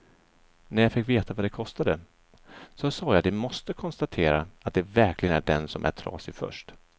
När jag fick veta vad det kostade, så sa jag att de måste konstatera att det verkligen är den som är trasig först.